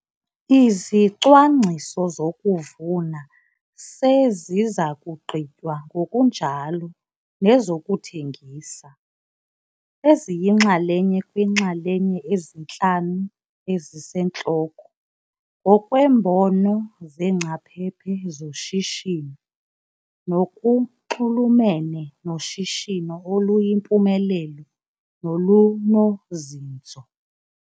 Izicwangciso zokuvuna seziza kugqitywa ngokunjalo nezokuthengisa, eziyinxalenye kwiinxalenye ezintlanu ezisentloko, ngokweembono zeengcaphephe zoshishino, nokunxulumene noshishino oluyimpumelelo nolunozinzo.